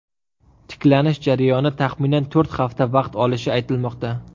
Tiklanish jarayoni taxminan to‘rt hafta vaqt olishi aytilmoqda.